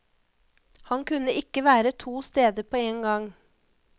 Han kunne ikke være to steder på én gang.